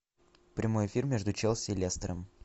прямой эфир между челси и лестером